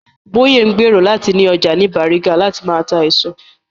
Bóyè ń gbèrò láti ni ọjà ní Bàrígà láti máa ta èso